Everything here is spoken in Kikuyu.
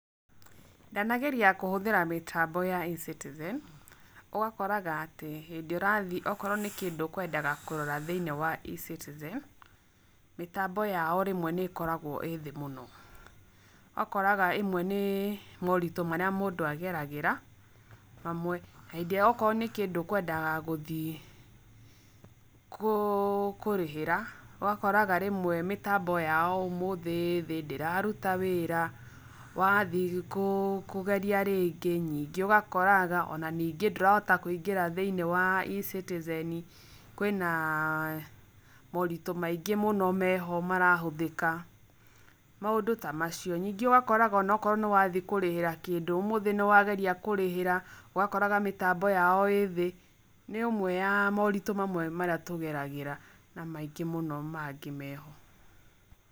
Ndanageria kũhũthĩra mĩtambo ya E-citizen, ũgakoraga atĩ, hĩndĩ ũrathi, okorwo nĩ kĩndũ ũkwendaga kũrora thĩiniĩ wa E-citizen, mitambo yao rĩmwe nĩkoragwo ĩthĩ mũno, ũgakoraga ĩmwe nĩ moritũ marĩa mũndũ ageragĩra, mamwe, na hĩndĩ ĩria akorwo nĩkĩndũ ũkwendaga gũthie kũ kũrĩhĩra ũgakoraga rĩmwe mĩtambo yao ũmũthĩ ĩthĩ ndĩrarũta wĩra, wathie kũ kũgeria rĩngi nyingĩ ũgakoraga ona ningĩ ndũrahota kũingĩra thĩinie wa E-citizen kwina moritũ maingĩ mũno meho marahũthĩka, maũndũ ta macio, nyingĩ ũgakoraga onokorwo niwathiĩ kũrĩhĩra kĩndũ ũmũthĩ nĩwathiĩ kũrĩhĩra ũgakoraga mĩtambo yao ĩthĩ nĩ ũmwe ya moritũ maria tũgeragĩra na maingĩ mũno mangĩ meho.